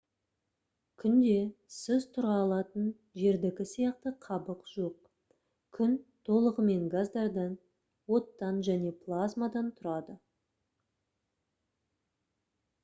күнде сіз тұра алатын жердікі сияқты қабық жоқ күн толығымен газдардан оттан және плазмадан тұрады